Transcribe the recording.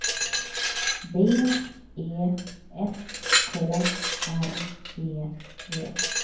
B E S K R E V